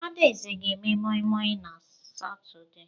Adaeze ga eme moi moi na Satọde.